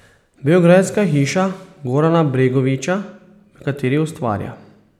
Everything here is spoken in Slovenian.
Beograjska hiša Gorana Bregovića, v kateri ustvarja.